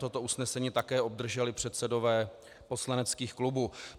Toto usnesení také obdrželi předsedové poslaneckých klubů.